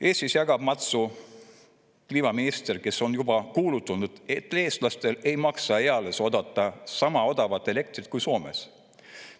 Eestis jagab matsu kliimaminister, kes on juba kuulutanud, et eestlastel ei maksa eales oodata sama odavat elektrit kui Soomes.